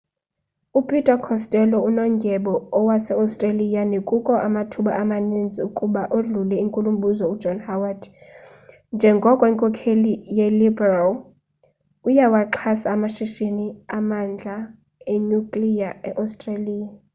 upeter costello unondyebo waseostreliya nekukho amathuba amaninzi ukuba odlule inkulumbuso john howard njengenkokheli yeliberal uyawaxhasa amashishini amandla enyukliya eostreliya